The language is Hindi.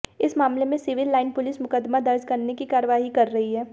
इस मामले में सिविल लाइन पुलिस मुकदमा दर्ज करने की कार्रवाई कर रही है